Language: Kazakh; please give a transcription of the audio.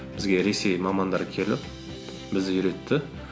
бізге ресей мамандары келіп бізді үйретті